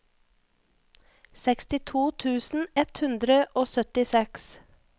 sekstito tusen ett hundre og syttiseks